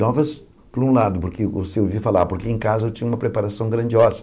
Novas, por um lado, porque você ouvia falar, porque em casa eu tinha uma preparação grandiosa.